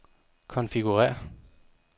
konfigurér